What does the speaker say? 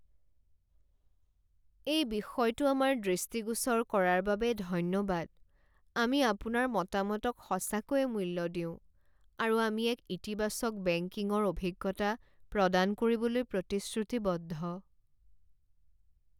এই বিষয়টো আমাৰ দৃষ্টিগোচৰ কৰাৰ বাবে ধন্যবাদ। আমি আপোনাৰ মতামতক সঁচাকৈয়ে মূল্য দিওঁ, আৰু আমি এক ইতিবাচক বেংকিঙৰ অভিজ্ঞতা প্ৰদান কৰিবলৈ প্ৰতিশ্ৰুতিবদ্ধ।